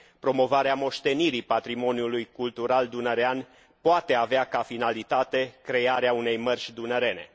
Promovarea moștenirii patrimoniului cultural dunărean poate avea ca finalitate crearea unei mărci dunărene.